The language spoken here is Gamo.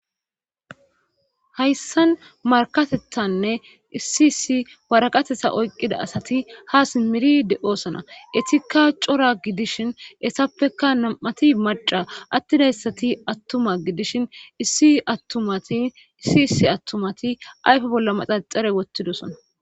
hayssan markatethanne issi issi waraqatetha oyqqida asati ha simiri de7oosona etikka cora gidishin essappekka nam7ati maca attidayssati attuma gidishin issiattumatiisi issi attumati ayfe bolla maxaxare wottidosona